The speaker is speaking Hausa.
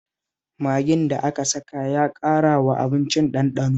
Magin da aka saka ya ƙarawa abincin ɗanɗano